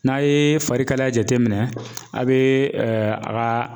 N'a ye fari kalaya jateminɛ a bɛ a ka